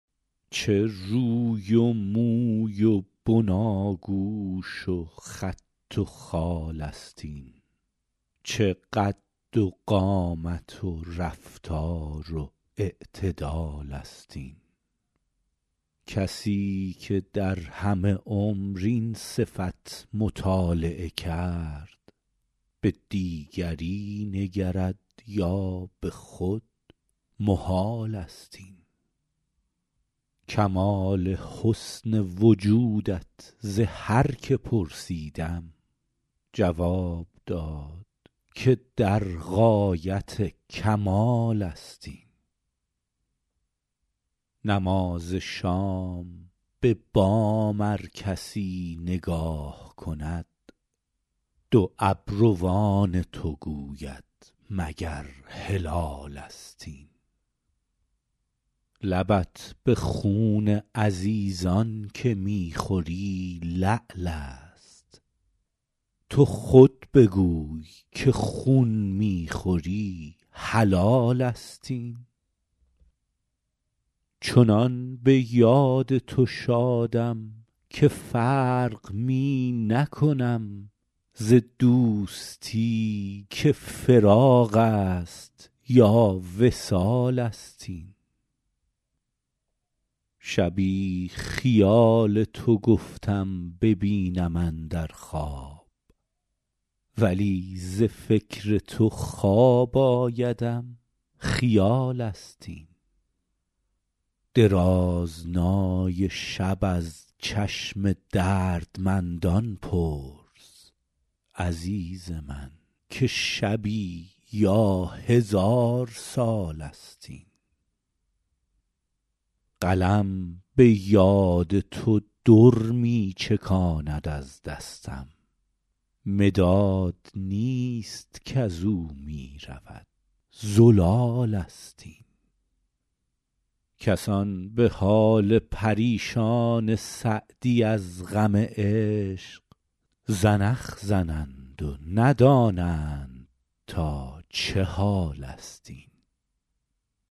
چه روی و موی و بناگوش و خط و خال است این چه قد و قامت و رفتار و اعتدال است این کسی که در همه عمر این صفت مطالعه کرد به دیگری نگرد یا به خود محال است این کمال حسن وجودت ز هر که پرسیدم جواب داد که در غایت کمال است این نماز شام به بام ار کسی نگاه کند دو ابروان تو گوید مگر هلالست این لبت به خون عزیزان که می خوری لعل است تو خود بگوی که خون می خوری حلال است این چنان به یاد تو شادم که فرق می نکنم ز دوستی که فراق است یا وصال است این شبی خیال تو گفتم ببینم اندر خواب ولی ز فکر تو خواب آیدم خیال است این درازنای شب از چشم دردمندان پرس عزیز من که شبی یا هزار سال است این قلم به یاد تو در می چکاند از دستم مداد نیست کز او می رود زلال است این کسان به حال پریشان سعدی از غم عشق زنخ زنند و ندانند تا چه حال است این